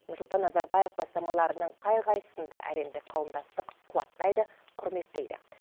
нұрсұлтан назарбаев бастамаларының қай қайсын да әлемдік қауымдастық қуаттайды құрметтейді